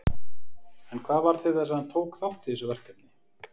En hvað varð til þess að hann tók þátt í þessu verkefni?